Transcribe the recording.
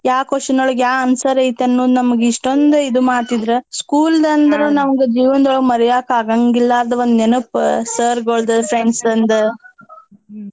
ಯಾವ್ question ಒಳಗ್ ಯಾವ್ answer ಐತ್ ಅನ್ನೋದ್ ನಮ್ಗ್ ಇಷ್ಟೋಂದ್ ಇದ್ ಮಾಡ್ತಿದ್ರ school ನಮ್ಗ ಜೀವನ್ದೊಳಗ್ ಮರ್ಯಾಕ್ ಆಗಾಂಗಿಲ್ಲಾದ್ ಒಂದ್ ನೆನಪ sir ಗಳ್ದು friends ನ್ದ್ .